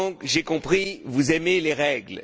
J'ai compris que vous aimiez les règles.